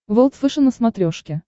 волд фэшен на смотрешке